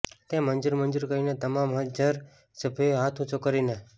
તે મંજુર મંજુર કહીને તમામ હાજર સભ્યોએ હાથ ઉંચો કરીને